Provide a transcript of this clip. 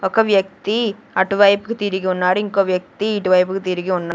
ఒక వ్యక్తి అటువైపుకు తిరిగి ఉన్నాడు ఇంకో వ్యక్తి ఇటువైపుకు తిరిగి ఉన్నా--